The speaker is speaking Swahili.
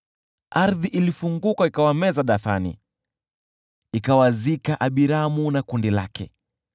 Ardhi ilifunguka ikawameza Dathani, ikawazika Abiramu na kundi lake.